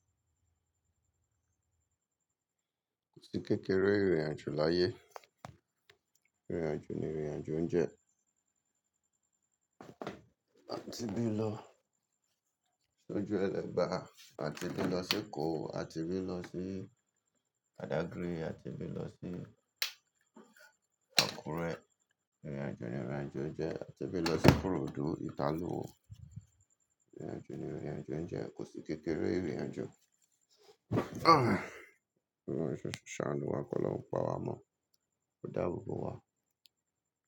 Kò sí kékeré ìrìnàjò láyé. Ìrìnàjò ni ìrìnàjò oúnjẹ. A ti bí lọ sójú Ẹlẹ́ba, a ti bí lọ sí Eko, a ti bí lọ sí badágry, a ti bí lọ sí Àkúrẹ́. Ìrìnàjò ni ìrìnàjò oúnjẹ. A ti bí lọ sí ikorodu, Italuwo. Ìrìnàjò ni ìrìnàjò oúnjẹ. Kò sí kékeré ìrìnàjò. Ọlọ́run ṣe ṣọ́ọ̀ṣà níwà, kó lọ́ pọ̀ àwọn ọmọ, kó dá gbogbo wa.